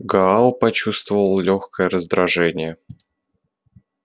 гаал почувствовал лёгкое раздражение